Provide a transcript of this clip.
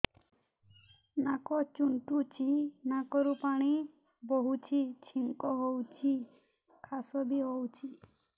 ନାକ ଚୁଣ୍ଟୁଚି ନାକରୁ ପାଣି ବହୁଛି ଛିଙ୍କ ହଉଚି ଖାସ ବି ହଉଚି